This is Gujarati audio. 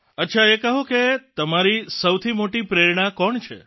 અચ્છા એ કહો કે તમારી સૌથી મોટી પ્રેરણા કોણ છે